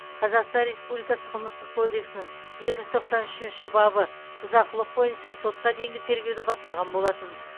қазақстан республикасы қылмыстық кодексінің екі жүз тоқсан үшінші бабы бұзақылық бойынша сотқа дейінгі тергеуді бастаған болатын